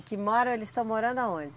E que moram, eles estão morando aonde?